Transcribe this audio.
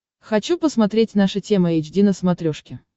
хочу посмотреть наша тема эйч ди на смотрешке